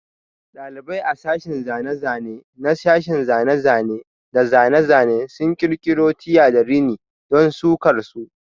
Dalibai a sashin zane-zane na sashen zane-zane da zane-zane sun kirkiro Tie da rini don sukar su.